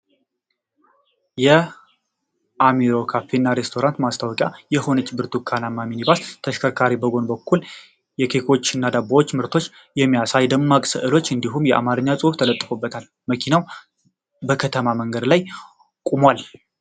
የ"አሚሮ ካፌ እና ሬስቶራንት" ማስታወቂያ የሆነች ብርቱካንማ ሚኒባስ ። ተሽከርካሪዋ በጎን በኩል የኬኮች እና የዳቦ ምርቶችን የሚያሳዩ ደማቅ ስዕሎች እንዲሁም የአማርኛ ጽሑፍ ተለጥፎበታል። መኪናው በከተማ መንገድ ላይ ቆሟል።